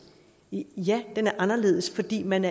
ja den er anderledes fordi man